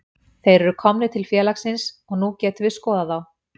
Þeir eru komnir til félagsins og nú getum við skoðað þá.